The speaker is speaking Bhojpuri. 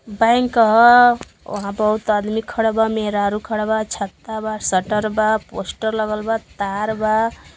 बैंक ह। वहां बहुत आदमी खड़ा बा मेहरारू खड़ा बा छत्ता बा शटर बा पोस्टर लगल बा तार बा।